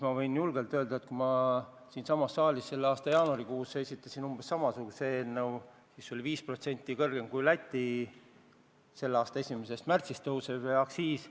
Ma võin öelda, et jaanuaris ma andsin siinsamas saalis üle umbes samasuguse eelnõu, mis pani ette 5% kõrgemat aktsiisi kui Lätis selle aasta 1. märtsist tõusnud aktsiis.